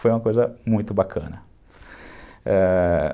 Foi uma coisa muito bacana, ãh...